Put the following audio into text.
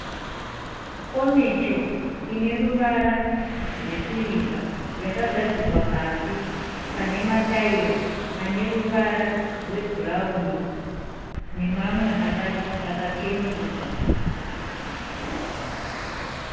Komicho ineruvara rwesirivha yakagadzikwa pasi panemataira aneruvara rwebhurauni nemamwe akacheneruka